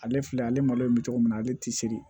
Ale filɛ ale malo in bɛ cogo min na ale tɛ se